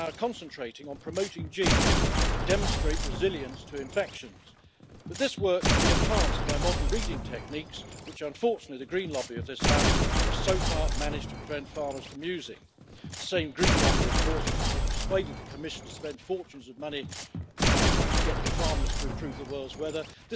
Samen met een krachtig vaccinatiebeleid in de lidstaten moet Europa de ontwikkeling van innovatieve nieuwe antibiotica gaan ondersteunen. Ondertussen wachten wij nog steeds op een strategie voor de aanpak van vervuiling door farmaceutische stoffen. Antibioticaresistente bacteriën in het oppervlaktewater vormen een onbeheersbaar gevaar als we zo verdergaan. In een ander debat over de kaderrichtlijn water spreek ik daar